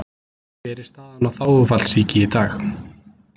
Hver er staðan á þágufallssýki í dag?